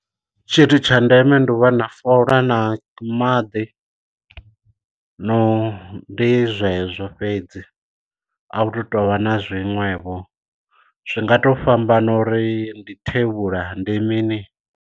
Tshithu tsha ndeme ndi u vha na fola na maḓi no ndi zwezwo fhedzi a hu tu tovha na zwiṅwevho zwi nga to fhambana uri ndi thevhula ndi mini.